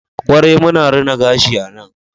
kwarai muna rina gashi a nan